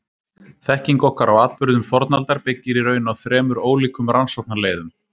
Þekking okkar á atburðum fornaldar byggir í raun á þremur ólíkum rannsóknarleiðum.